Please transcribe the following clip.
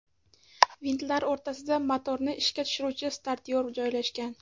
Vintlar o‘rasida motorni ishga tushiruvchi startyor joylashgan.